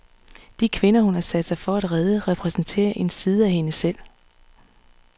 De kvinder, hun har sat sig for at redde, repræsenterer en side af hende selv.